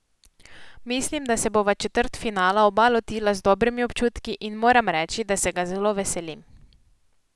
Mislim, da se bova četrtfinala oba lotila z dobrimi občutki in moram reči, da se ga zelo veselim.